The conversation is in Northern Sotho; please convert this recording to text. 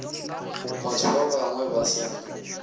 batho ba bangwe ba sa